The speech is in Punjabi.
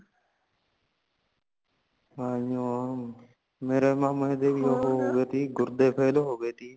ਆਇਓ ਮੇਰੇ ਮਾਮਾ ਜੀ ਦੇ ਵੀ ਹੋਗੇ ਤੀ ਗੁਰਦੇ fail ਹੋਗੇ ਤੀ